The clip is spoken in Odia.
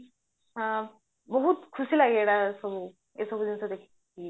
ଆଁ ବହୁତ ଖୁସି ଲାଗେ ଏଇଟା ସବୁ ଏସବୁ ଜିନିଷ ଦେଖିକି